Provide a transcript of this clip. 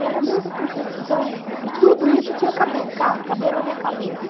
Era muita contradição, e tudo isso tinha que caber ca caber na minha cabeça.